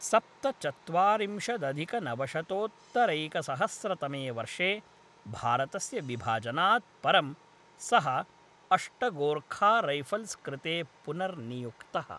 सप्तचत्वारिंशदधिकनवशतोत्तरैकसहस्रतमे वर्षे भारतस्य विभाजनात् परं, सः अष्ट गोर्खा रैफल्स् कृते पुनर्नियुक्तः।